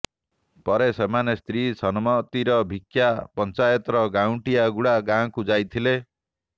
ପରେ ସେମାନେ ସ୍ତ୍ରୀ ସନମତିର ଭିକ୍ଷା ପଞ୍ଚାୟତର ଗାଁଉଣ୍ଟିଆ ଗୁଡା ଗାଁକୁ ଯାଇଥିଲେ